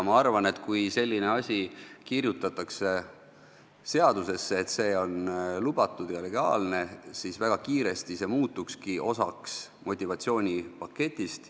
Ma arvan, et kui seadusesse kirjutatakse, et see on lubatud ja legaalne, siis see väga kiiresti muutukski osaks motivatsioonipaketist.